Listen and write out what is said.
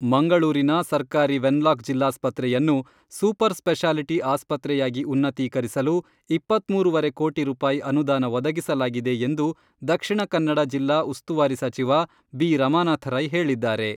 ಮಂಗಳೂರಿನ ಸರ್ಕಾರಿ ವೆನ್ಲಾಕ್ ಜಿಲ್ಲಾಸ್ಪತ್ರೆಯನ್ನು ಸೂಪರ್ ಸ್ಪೆಶಾಲಿಟಿ ಆಸ್ಪತ್ರೆಯಾಗಿ ಉನ್ನತೀಕರಿಸಲು ಇಪ್ಪತ್ಮೂರುವರೆ ಕೋಟಿ ರೂಪಾಯಿ ಅನುದಾನ ಒದಗಿಸಲಾಗಿದೆ ಎಂದು ದಕ್ಷಿಣ ಕನ್ನಡ ಜಿಲ್ಲಾ ಉಸ್ತುವಾರಿ ಸಚಿವ ಬಿ ರಮಾನಾಥ ರೈ ಹೇಳಿದ್ದಾರೆ.